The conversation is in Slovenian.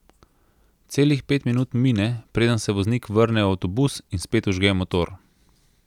Celih pet minut mine, preden se voznik vrne v avtobus in spet vžge motor.